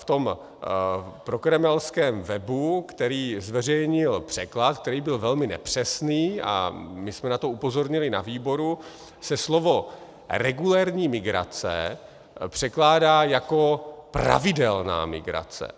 V tom prokremelském webu, který zveřejnil překlad, který byl velmi nepřesný, a my jsme na to upozornili na výboru, se slovo "regulérní migrace" překládá jako pravidelná migrace.